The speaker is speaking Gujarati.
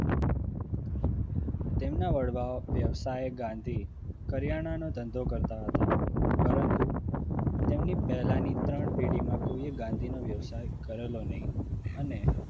તેમના વડવાઓ વ્યવસાય ગાંધી કરિયાણાનો ધંધો કરતા હતા પરંતુ તેમની પહેલાની ત્રણ પેઢીમાં કોઈએ ગાંધીનો વ્યવસાય કરેલો નહીં અને